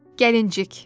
Gəlincik.